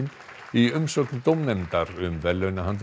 í umsögn dómnefndar um verðlaunahandritið